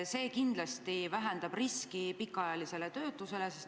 See kindlasti vähendab pikaajalise töötuse riski.